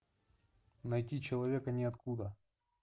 найти человека ниоткуда